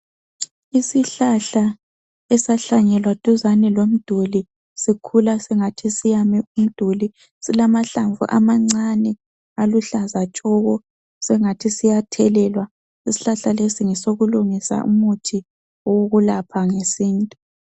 Isihlahla esahlanyelwa duzane lomduli sikhula singathi siyame umduli silamahlamvu amancane aluhlaza tshoko singathi siyathelelwa isihlahla lesi ngesokulungisa umuthi wokulapha ngesintu.